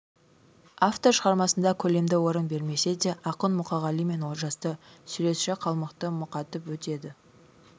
автор шығармасында көлемді орын бермесе де ақын мұқағали мен олжасты суретші калмыкты мұқатып өтеді